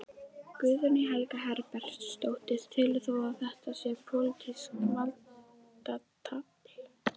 Guðný Helga Herbertsdóttir: Telur þú að þetta sé pólitískt valdatafl?